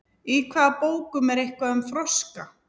Í hvaða bókum er eitthvað um froska?